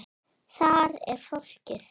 Þar er fólkið.